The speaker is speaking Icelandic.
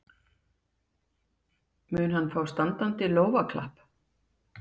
Mun hann fá standandi lófaklapp?